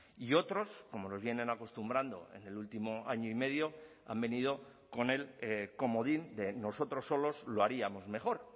y otros como nos vienen acostumbrando en el último año y medio han venido con el comodín de nosotros solos lo haríamos mejor